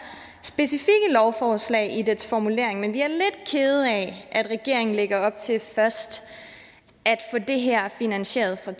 specifikke lovforslag i dets formulering at regeringen lægger op til først at få det her finansieret fra